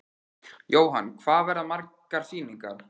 Jóhann: Hvað verða margar sýningar?